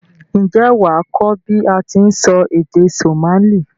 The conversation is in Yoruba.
N jé wàá kó bi a ti n sọ Somali